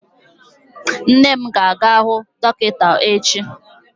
Nne m ga-aga hụ dọkịta echi.